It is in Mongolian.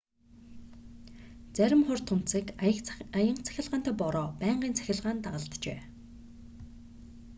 зарим хур тунадасыг аянга цахилгаантай бороо байнгын цахилгаан дагалджээ